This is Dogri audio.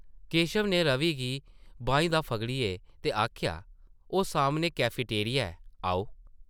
केशव नै रवि गी बाहीं दा फगड़ेआ ते आखेआ, ‘‘ओह् सामनै कैफटेरिया ऐ, आओ ।’’